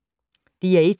DR1